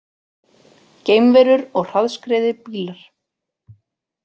Geimverur og hraðskreiðir bílar